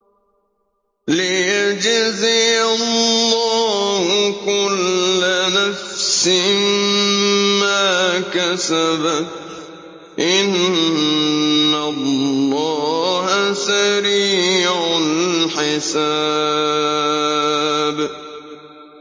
لِيَجْزِيَ اللَّهُ كُلَّ نَفْسٍ مَّا كَسَبَتْ ۚ إِنَّ اللَّهَ سَرِيعُ الْحِسَابِ